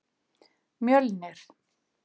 Mjölnir